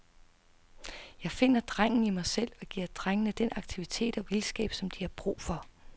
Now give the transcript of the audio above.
Jeg finder drengen i mig selv, og giver drengene den aktivitet og vildskab, som de har brug for.